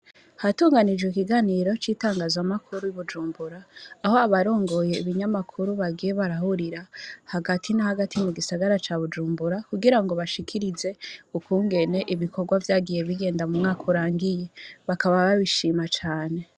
Hatunganijwe ikiganiro citangazwa makuru ibujumbura ,Aho abarongoye ibinyamakuru bagiye barahurira hagati nahagati mugisagara ca Bujumbura, kugirango bashikirize ukungene ibikorwa vyagiye bigenda mumwaka urangiye, bakaba babishima cane.